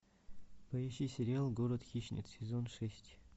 поищи сериал город хищниц сезон шесть